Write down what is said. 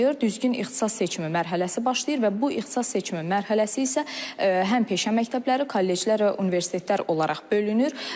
Düzgün ixtisas seçimi mərhələsi başlayır və bu ixtisas seçimi mərhələsi isə həm peşə məktəbləri, kolleclər və universitetlər olaraq bölünür.